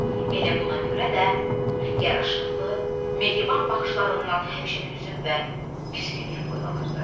Elə buna görə də yaraşıqlı, mehriban baxışlarından həmişə hüzn və küskünlük boylanırdı.